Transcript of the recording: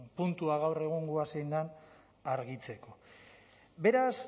puntua gaur egungoa zein den argitzeko beraz